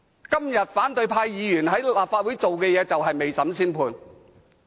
今天反對派議員在立法會所做的事就是未審先判。